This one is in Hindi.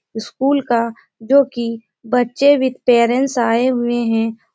स्कूल का जो कि बच्चें विथ पेरेंट्स आए हुए हैं।